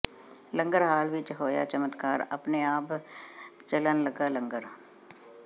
ਲੰਗਰ hall ਵਿਚ ਹੋਇਆ ਚਮਤਕਾਰ ਆਪਣੇ ਆਪ ਚਲਣ ਲਗਾ ਲੰਗਰ